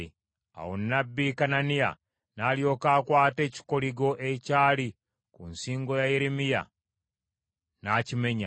Awo nnabbi Kananiya n’alyoka akwata ekikoligo ekyali ku nsingo ya Yeremiya n’akimenya,